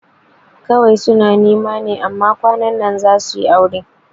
Kawai suna nema ne amma kwanan za suyi aure